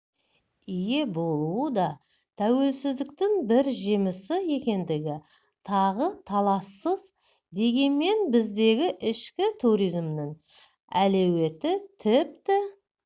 ие болуы да тәуелсіздіктің бір жемісі екендігі тағы талассыз дегенмен біздегі ішкі туризмнің әлеуеті тіпті